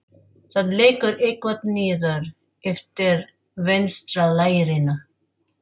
Það lekur eitthvað niður eftir vinstra lærinu.